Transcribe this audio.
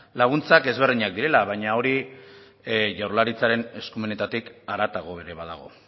laguntzak desberdinak direla baina hori jaurlaritzaren eskumenetatik haratago ere badago